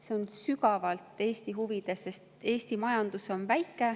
See on sügavalt Eesti huvides, sest Eesti majandus on väike.